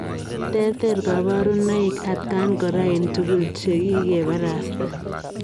Tereter kabarunoik atakaan koraa eng tugul chekikeparastaa .